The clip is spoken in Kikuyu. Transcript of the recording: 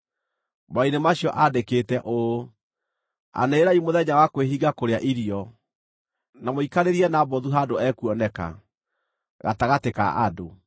Marũa-inĩ macio aandĩkĩte ũũ: “Anĩrĩrai mũthenya wa kwĩhinga kũrĩa irio, na mũikarĩrie Nabothu handũ ekuoneka, gatagatĩ ka andũ.